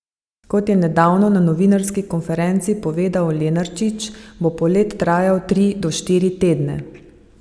Kot je nedavno na novinarski konferenci povedal Lenarčič, bo polet trajal tri do štiri tedne.